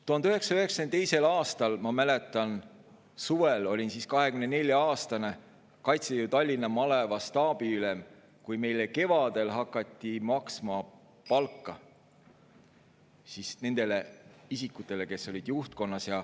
1992. aasta suvel, ma mäletan, olin 24-aastane Kaitseliidu Tallinna maleva staabiülem, kui meile kevadel hakati maksma palka – nendele isikutele, kes olid juhtkonnas.